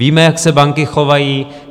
Víme, jak se banky chovaly.